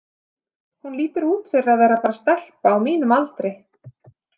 Hún lítur út fyrir að vera bara stelpa á mínum aldri.